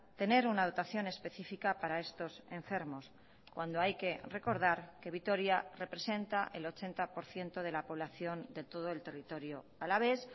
tener una dotación específica para estos enfermos cuando hay que recordar que vitoria representa el ochenta por ciento de la población de todo el territorio alavés